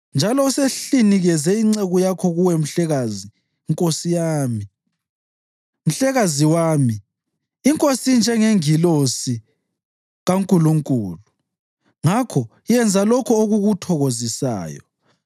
Njalo usehlinikeze inceku yakho kuwe mhlekazi nkosi yami. Mhlekazi wami, inkosi injengengilosi kaNkulunkulu; ngakho yenza lokho okukuthokozisayo.